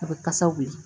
A bɛ kasa wuli